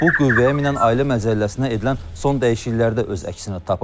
Bu qüvvəyə minən Ailə Məcəlləsinə edilən son dəyişikliklərdə öz əksini tapıb.